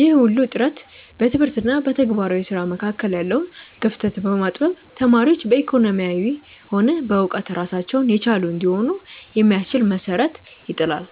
ይህ ሁሉ ጥረት በትምህርት እና በተግባራዊ ስራ መካከል ያለውን ክፍተት በማጥበብ ተማሪዎች በኢኮኖሚም ሆነ በእውቀት ራሳቸውን የቻሉ እንዲሆኑ የሚያስችል መሰረት ይጥላል።